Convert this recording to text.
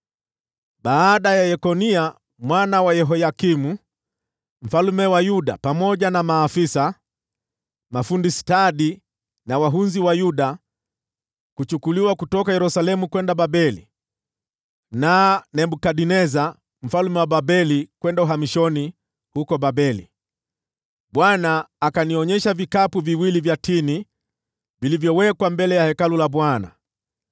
Baada ya Yekonia mwana wa Yehoyakimu mfalme wa Yuda, pamoja na maafisa, mafundi stadi na wahunzi wa Yuda, kuchukuliwa kutoka Yerusalemu kwenda Babeli na Nebukadneza mfalme wa Babeli kwenda uhamishoni huko Babeli, Bwana akanionyesha vikapu viwili vya tini vilivyowekwa mbele ya Hekalu la Bwana .